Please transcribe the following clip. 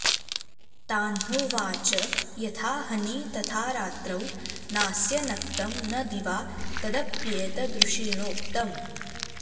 तान्होवाच यथाहनि तथा रात्रौ नास्य नक्तं न दिवा तदप्येतदृषिणोक्तम्